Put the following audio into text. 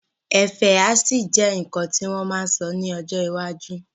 Ẹfẹ́ á ṣì jẹ́ nǹkan tí wọ́n ma sọ ní ọjọ́ iwájú